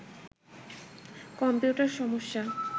computer সমস্যা